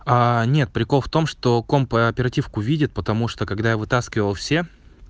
а нет прикол в том что компьютер и оперативную память видит потому что когда вытаскивал все